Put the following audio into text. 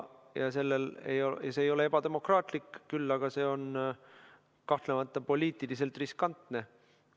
See ei ole ebademokraatlik, küll aga on see kahtlemata poliitiliselt riskantne.